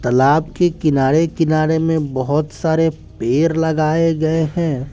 तलाब के किनारे किनारे में बहोत सारे पेर लगाए गए हैं।